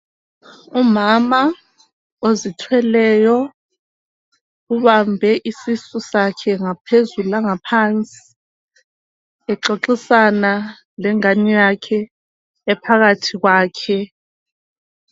Umama ozithweleyo ubambe isisu sakhe ngaphezulu langaphansi exoxisana lengane yakhe ephakathi kwakhe.